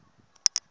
loko a ku nga ri